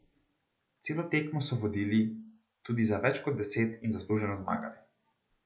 Celo tekmo so vodili, tudi za več kot deset in zasluženo zmagali.